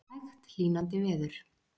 Hægt hlýnandi veður